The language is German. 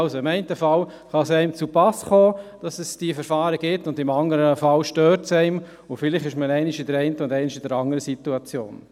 Also: Im einen Fall kann es einem passen, dass es diese Verfahren gibt, im anderen Fall stört es einem, und vielleicht ist man einmal in der einen und einmal in der anderen Situation.